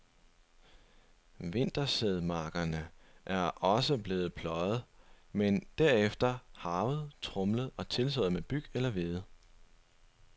Vintersædmarkerne er også blevet pløjet, men derefter harvet og tromlet og tilsået med byg eller hvede.